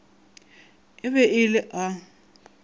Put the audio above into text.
e be e le a